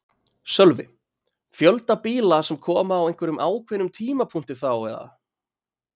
Sölvi: Fjölda bíla sem koma á einhverjum ákveðnum tímapunkti þá eða?